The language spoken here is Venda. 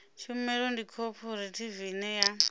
tshumelo ndi khophorethivi ine ya